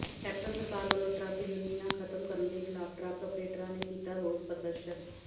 captain ਸਰਕਾਰ ਵੱਲੋਂ truck ਯੂਨੀਅਨਾਂ ਖ਼ਤਮ ਕਰਨ ਦੇ ਿਖ਼ਲਾਫ਼ ਟਰੱਕ ਅਪ੍ਰੇਟਰਾਂ ਨੇ ਕੀਤਾ ਰੋਸ ਪ੍ਰਦਰਸ਼ਨ